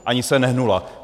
Ani se nehnula.